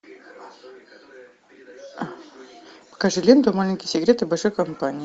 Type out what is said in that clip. покажи ленту маленькие секреты большой компании